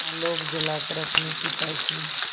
आलोक जलाकर अपने पिता की